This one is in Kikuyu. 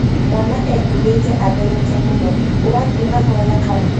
mwana ehũbĩte atherete mũno, ũrathiĩ mahoya kana?